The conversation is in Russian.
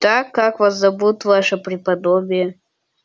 так как вас зовут ваше преподобие